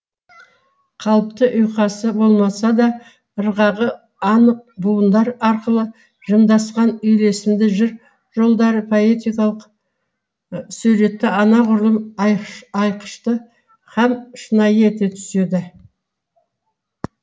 қалыпты ұйқасы болмаса да ырғағы анық буындар арқылы жымдасқан үйлесімді жыр жолдары поэтикалық суретті анағұрлым айқышты һәм шынайы ете түседі